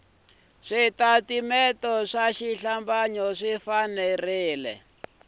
switatimende swa xihlambanyo swi fanele